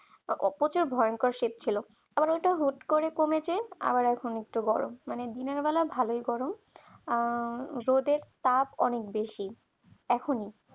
প্রচুর ভয়ংকর শীত ছিল অনেকটাই হুট করে কমেছে আর এখন একটু গরম অনেক দিনের বেলায় ভালোই করো আর রোদের তাপ অনেক বেশি এখনই